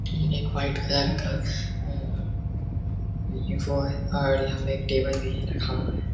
ये एक white colour अ ये वो है और यहाँ पे एक टेबल भी रखा हुआ है।